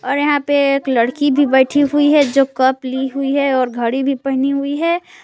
और यहां पे एक लड़की भी बैठी हुई है जो कप ली हुई है और घड़ी भी पहनी हुई है।